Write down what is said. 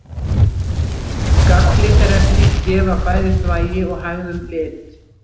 Galllitarefni gefa bæði þvagi og hægðum lit.